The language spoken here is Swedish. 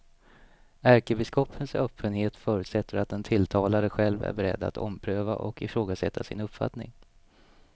Ärkebiskopens öppenhet förutsätter att den tilltalade själv är beredd att ompröva och ifrågasätta sin uppfattning.